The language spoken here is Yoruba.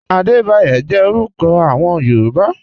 Adebayo jẹ̀ orúkọ awọn Yorùbá.